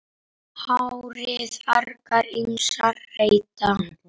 HÁRIÐ argir ýmsir reyta.